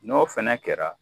Ɲ'o fɛnɛ kɛra